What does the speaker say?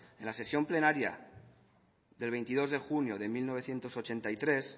en la sesión plenaria de veintidós de junio de mil novecientos ochenta y tres